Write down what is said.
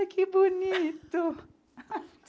Ai, que bonito!